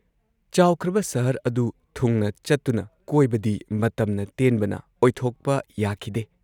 ꯆꯥꯎꯈ꯭ꯔꯕ ꯁꯍꯔ ꯑꯗꯨ ꯊꯨꯡꯅ ꯆꯠꯇꯨꯅ ꯀꯣꯏꯕꯗꯤ ꯃꯇꯝꯅ ꯇꯦꯟꯕꯅ ꯑꯣꯏꯊꯣꯛꯄ ꯌꯥꯈꯤꯗꯦ ꯫